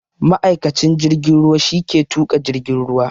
Ma'aikacin jirgin ruwa shi ke tuƙa jirgin ruwa